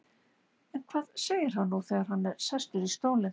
En hvað segir hann nú þegar hann er sestur í stólinn?